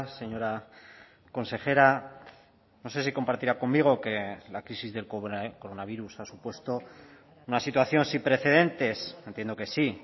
señora consejera no sé si compartirá conmigo que la crisis del coronavirus ha supuesto una situación sin precedentes entiendo que sí